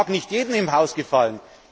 Das mag nicht jedem im Haus gefallen.